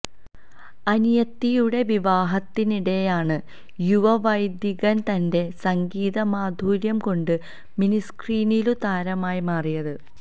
അനിയത്തിയുടെ വിവാഹത്തിനിടെയാണ് യുവവൈദികന് തന്റെ സംഗീതമാധുര്യം കൊണ്ട് മിനിസ്ക്രീനിലും താരമായി മാറിയത്